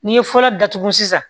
N'i ye fura datugu sisan